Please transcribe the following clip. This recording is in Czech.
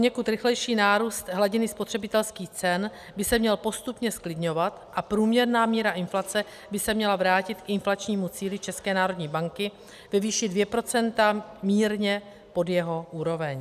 Poněkud rychlejší nárůst hladiny spotřebitelských cen by se měl postupně zklidňovat a průměrná míra inflace by se měla vrátit k inflačnímu cíli České národní banky ve výši 2 % mírně pod jeho úroveň.